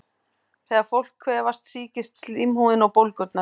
Þegar fólk kvefast sýkist slímhúðin og bólgnar.